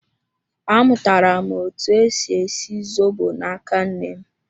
Amụtara m etu esi esi zobo na-aka nnem